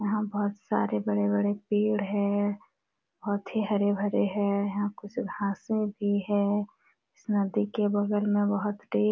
यहाँ बोहोत सारे बड़े- बड़े पेड़ है बोहोत ही हरे-भरे है यहाँ कुछ घासे भी है इस नदी के बगल में बोहोत से--